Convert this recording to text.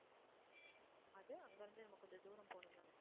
அது அங்க இருந்து இன்னும் கொஞ்சம் தூரம் போகணும் தானே?